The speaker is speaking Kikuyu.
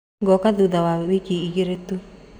Goka thutha wa wiki igĩrĩ tu.